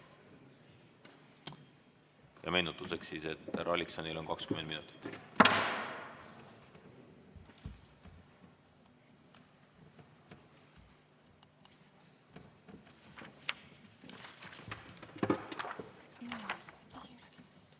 Meenutuseks, et härra Alliksonil on ettekadeks kuni 20 minutit.